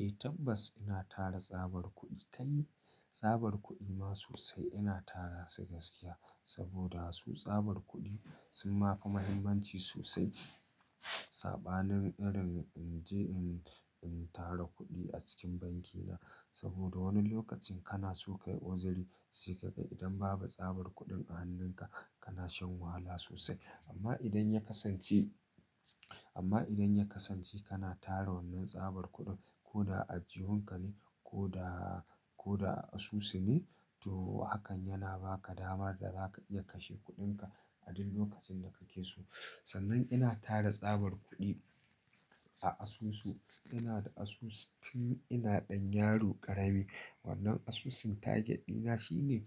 Eh tabbas ina tara tsabar kuɗi kai. Tsabar kuɗi ma sosai ina tara su gaskiya saboda su tsabar kuɗi sun ma fi muhimmanci sosai sabanin irin in je in, in tara kuɗi a cikin banki na. Saboda wani lokacin kana so ka yi uzuri sai ka ga idan babu tsabar kuɗin a hannunka kana shan wahala sosai. Amma idan ya kasance, amma idan ya kasance kana tara wannan tsabar kuɗin ko da a aljihunka ne ko daa, ko da asusu ne to hakan yana ba ka dama da za ka iya kashe kuɗinka a duk lokacin da kake so. Sannan ina tara tsabar kuɗi a asusu. Ina da asusu tun ina ɗan yaro ƙarami. Wannan asusun target ɗina shine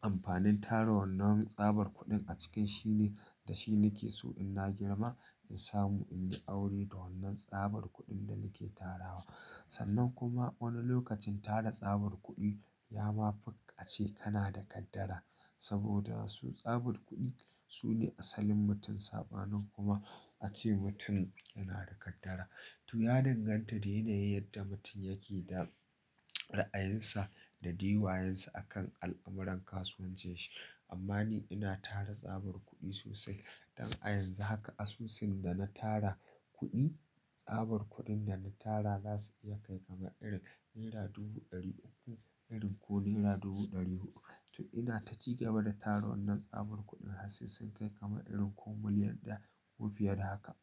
amfanin tara wannan tsabar kuɗin a cikinshi ne da shi nake so in na girma in samu in yi aure da wannan tsabar kuɗin da nake tarawa. Sannan kuma wani lokacin tara tsabar kuɗi ya ma fi ace kana da kaddara saboda su tsabar kuɗi su ne asalin mutum sabanin kuma a ce mutum yana da kaddara. To ya danganta da yanayin yadda mutum yake da ra'ayinsa da dadaiwayonsa a kan al'amuran kasuwancin shi. Amma ni ina tara tsabar kuɗi sosai. Don a yanzu haka asusun da na tara kuɗi, tsabar kuɗin da na tara za su iya kai kama irin naira dubu ɗari uku, irin ko naira dubu ɗari huɗu. To ina ta jigaba da tara wannan tsabar kuɗin har sai sun kai kama irin ko miliyan da wufiyar haka.